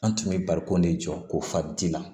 An tun bɛ barikon de jɔ ko fadi la